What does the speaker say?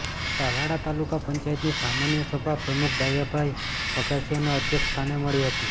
તાલાલ તાલુકા પંચાયતની સામાન્ય સભા પ્રમુખ ડાયાભાઇ વઘાસીયાના અધ્યક્ષ સ્થાને મળી હતી